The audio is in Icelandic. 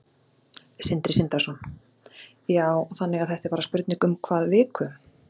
Sindri Sindrason: Já, þannig að þetta er bara spurning um hvað viku?